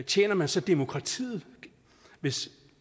tjener man så demokratiet hvis